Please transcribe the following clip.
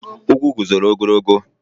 Ugwu guzoro ogologo.